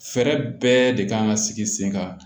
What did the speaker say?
Fɛɛrɛ bɛɛ de kan ka sigi sen kan